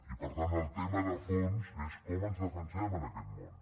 i per tant el tema de fons és com ens defensem en aquest món